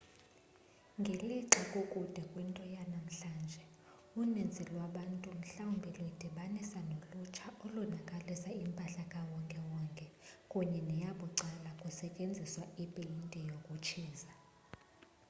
ngelixa kukude kwinto yanamhlanje uninzi lwabantu mhlawumbi luyidibanisa nolutsha olonakalisa impahla kawonke-wonke kunye neyabucala kusetyenziswa ipeyinti yokutshiza